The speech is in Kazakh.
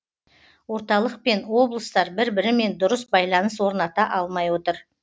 орталық пен облыстар бір бірімен дұрыс байланыс орната алмай отыр